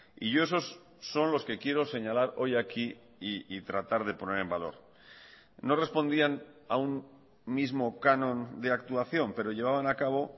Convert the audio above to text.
y yo esos son los que quiero señalar hoy aquí y tratar de poner en valor no respondían a un mismo canon de actuación pero llevaban a cabo